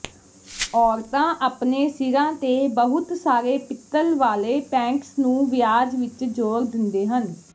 ਔਰਤਾਂ ਆਪਣੇ ਸਿਰਾਂ ਤੇ ਬਹੁਤ ਸਾਰੇ ਪਿੱਤਲ ਵਾਲੇ ਪੈਂਟਸ ਨੂੰ ਵਿਆਜ ਵਿਚ ਜੋੜ ਦਿੰਦੇ ਹਨ